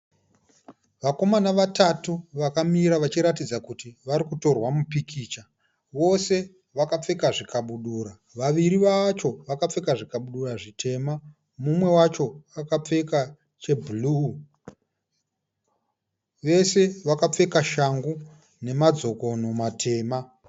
Vakomana vatatu vakamira vachiratidza kuti varikutorwa mupikicha. Vose vakapfeka zvikabudura. Vaviri vacho vakapfeka zvikabudura zvitema, mumwe wacho akapfeka chebhuruu. Vese vakapfeka shangu nemadzokono matema.